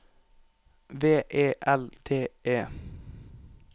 V E L T E